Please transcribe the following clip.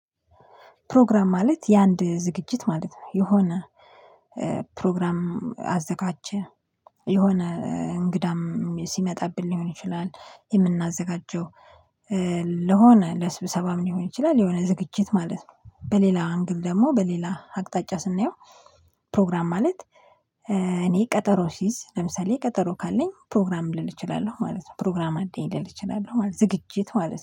ፕሮግራም ማለት የአንድ ዝግጅት ማለት ነው የሆነ ፕሮግራም አዘጋጀ የሆነ እንግዳም ሲመጣብን ሊሆን ይችላል የምናዘጋጀው ለሆነ ለስብሰባም ሊሆን ይችላል የሆነ ዝግጅት ማለት ነው በሌላ አንግል ደግሞ በሌላ አቅጣጫ ስናየው ፕሮግራም ማለት። እኔ ቀጠሮ ሲዝ ለምሳሌ ቀጠሮ ካለኝ ፕሮግራም ልል እችላለሁ ማለት ነው። ፕሮግራም አለኝ ልል እችላለሁ ማለት ነው። ዝግጅት ማለት ነው